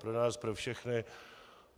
Pro nás pro všechny.